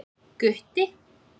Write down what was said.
Gutti